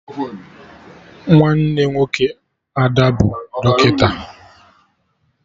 Nwanne nwoke Ada bụ dọkịta